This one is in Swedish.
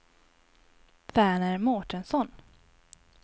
Verner Mårtensson